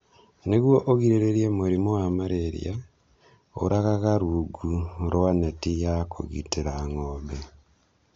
Nĩguo ũgirĩrĩrie mũrimũ wa malaria, ũragaga rungu rwa neti ya kũgitĩra ng'ombe.